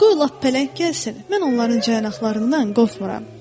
Qoy lap pələng gəlsin, mən onların caynaqlarından qorxmuram.